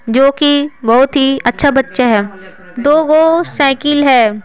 जो कि बहुत ही अच्छा बच्चा है दो गो साइकिल है।